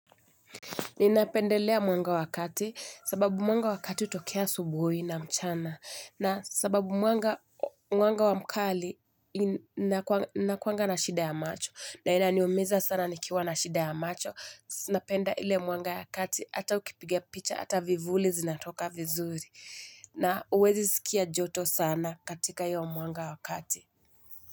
Ninapendelea mwanga wa kati sababu mwanga wa kati hutokea asubuhi na mchana na sababu mwanga wa mkali nakuanga na shida ya macho na inaniumiza sana nikiwa na shida ya macho napenda ile mwanga ya kati hata ukipiga picha hata vivuli zinatoka vizuri na uwezi sikia joto sana katika hiyo mwanga wa kati.